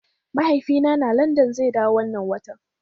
Mahaifina na London zai dawo wannan watan.